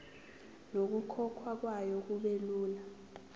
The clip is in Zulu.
nokukhokhwa kwayo kubelula